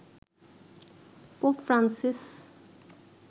pope Francis